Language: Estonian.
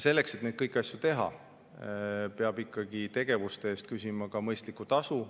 Selleks, et kõiki neid asju teha, peab ikkagi tegevuste eest küsima mõistlikku tasu.